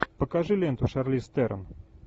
покажи ленту шарлиз терон